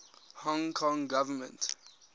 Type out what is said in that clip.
hong kong government